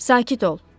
Sakit ol.